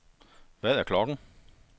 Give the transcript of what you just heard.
Hvad er klokken